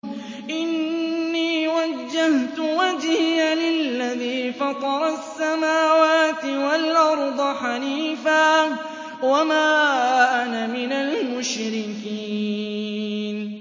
إِنِّي وَجَّهْتُ وَجْهِيَ لِلَّذِي فَطَرَ السَّمَاوَاتِ وَالْأَرْضَ حَنِيفًا ۖ وَمَا أَنَا مِنَ الْمُشْرِكِينَ